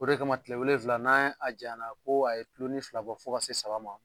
O de kama kile wolonwula n'a a janyana ko a ye bulu ni fila bɔ fo ka se saba ma